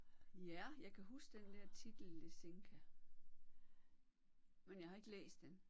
Ja jeg kan huske den der titel Lisinka men jeg har ikke læst den